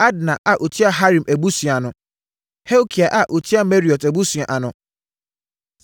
Adna a ɔtua Harim abusua ano. Helkai a ɔtua Meraiot abusua ano.